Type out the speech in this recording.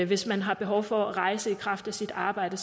hvis man har behov for at rejse i kraft af sit arbejde